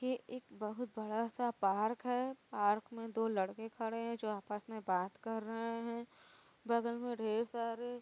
ये एक बोहुत बड़ा सा पार्क है। पार्क में दो लड़के खड़े हैं जो आपस में बात कर रहे हैं बगल में ढेर सारे --